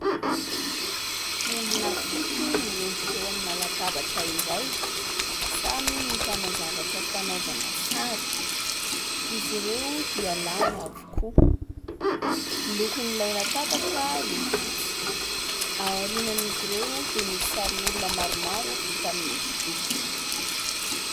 Olona fito miondrika eo amina latabatra iray, samy mitana zavatra fanaovana sary; izy ireo dia lahy avokoa. Ny lokon'ilay latabatra fotsy. Ao aorian'izy ireo dia misy sarin'olona maromaro vita amin'ny hosodoko.